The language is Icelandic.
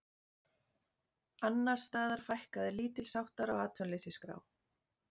Annars staðar fækkaði lítilsháttar á atvinnuleysisskrá